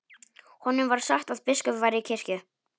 Honum var sagt að biskup væri í kirkju.